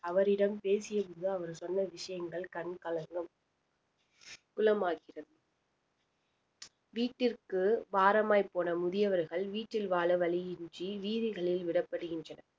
அவரிடம் பேசியபோது அவர் சொன்ன விஷயங்கள் கண் கலங்கும் குளமாகிறது வீட்டிற்கு பாரமாய் போன முதியவர்கள் வீட்டில் வாழ வழியின்றி வீதிகளில் விடப்படுகின்றனர்